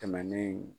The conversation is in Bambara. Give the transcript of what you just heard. Tɛmɛnen